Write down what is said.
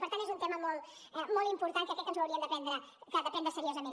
per tant és un tema molt important que crec que ens ho hauríem de prendre seriosament